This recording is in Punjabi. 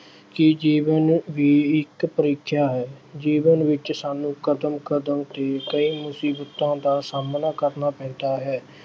ਕਿ ਜੀਵਨ ਵੀ ਇੱਕ ਪ੍ਰੀਖਿਆ ਹੈ। ਜੀਵਨ ਵਿੱਚ ਸਾਨੂੰ ਕਦਮ ਕਦਮ ਤੇ ਕਈ ਮੁਸੀਬਤਾਂ ਦਾ ਸਾਹਮਣਾ ਕਰਨਾ ਪੈਂਦਾ ਹੈ।